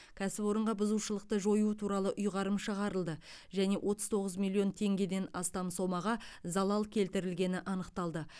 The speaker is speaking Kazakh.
кәсіпорынға бұзушылықты жою туралы ұйғарым шығарылды және отыз тоғыз миллион теңгеден астам сомаға залал келтірілгені анықталды